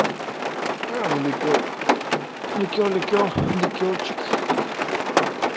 а ну ликёр ликёр ликёр ликёрчик